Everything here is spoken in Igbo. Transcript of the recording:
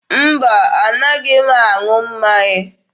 Mba, a naghị m aṅụ mmanya.